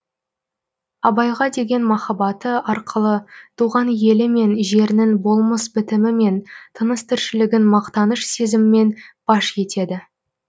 абайға деген махаббаты арқылы туған елі мен жерінің болмыс бітімі мен тыныс тіршілігін мақтаныш сезіміммен паш етеді